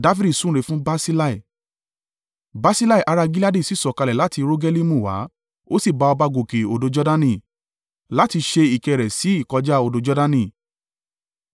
Barsillai ará Gileadi sì sọ̀kalẹ̀ láti Rogelimu wá, ó sì bá ọba gòkè odò Jordani, láti ṣe ìkẹ́ rẹ̀ sí ìkọjá odò Jordani.